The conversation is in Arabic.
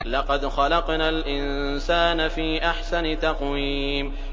لَقَدْ خَلَقْنَا الْإِنسَانَ فِي أَحْسَنِ تَقْوِيمٍ